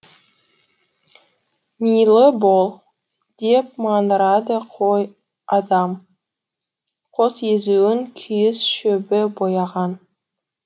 милы бол деп маңырады қой адам қос езуін күйіс шөбі бояған